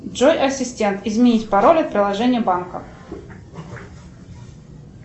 джой ассистент изменить пароль от приложения банка